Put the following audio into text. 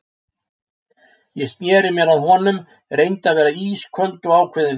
Ég sneri mér að honum, reyndi að vera ísköld og ákveðin.